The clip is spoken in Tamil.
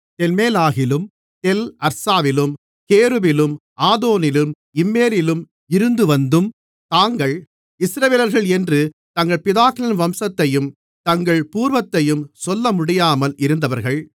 தெல்மெலாகிலும் தெல் அர்சாவிலும் கேருபிலும் ஆதோனிலும் இம்மேரிலும் இருந்துவந்தும் தாங்கள் இஸ்ரவேலர்கள் என்று தங்கள் பிதாக்களின் வம்சத்தையும் தங்கள் பூர்வத்தையும் சொல்லமுடியாமல் இருந்தவர்கள்